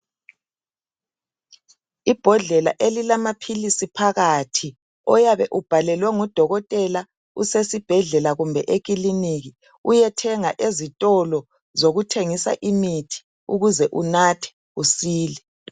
Ibhodlela elilamapills phakathi oyabe ubhalelwe ngudokotela usesibhedlela kumbe eclinikhi kumbe ezitolo zokuthengisa imithi ukuze unathe usile